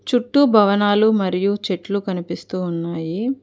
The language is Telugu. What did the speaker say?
చుట్టూ భవనాలు మరియు చెట్లు కనిపిస్తూ ఉన్నాయి.